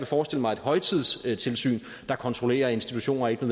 forestille mig et højtidstilsyn der kontrollerer at institutioner ikke